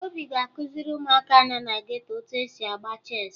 Obi ga-akụziri ụmụaka nọ na geto etu e si agba cheesị